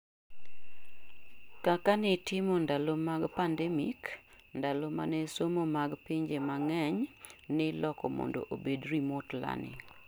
kak nitimo ndalo mag pndemic, ndalo mane somo mag pinje mangeny niloko mondo obedi remote learning